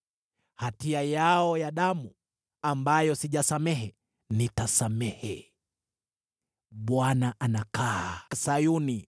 Hatia yao ya damu, ambayo sijasamehe, nitasamehe.” Bwana anakaa Sayuni!